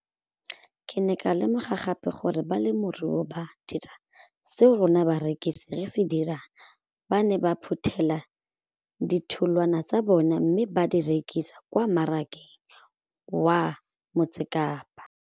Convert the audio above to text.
Ke ne ka lemoga gape gore balemirui ba dira seo rona barekisi re se dirang, ba ne ba phuthela ditholwana tsa bona mme ba di rekisa kwa marakeng wa Motsekapa.